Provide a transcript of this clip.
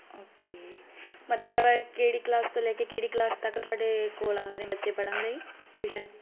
ok ਮਤਲਬ ਐਵੇ ਕਿਹੜੀ ਕਲਾਸ ਤੋਂ ਲੈ ਕੇ ਕਿਹੜੀ ਕਲਾਸ ਤੱਕ ਤੁਹਾਡੇ ਕੋਲ ਆਉਂਦੇ ਨੇ ਬੱਚੇ ਪੜਨ ਲਈ tuition